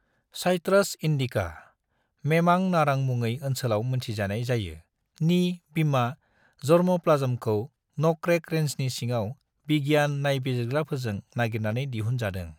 Citrus indica (मेमां नारां मङै ओनसोलाव मोनथिनाय जायो) नि बिमा जर्मोप्लाज्मखौ न'करेक रेंजनि सिङाव बिगियान नायबिजिरग्राफोरजों नागिरनानै दिहुन जादों।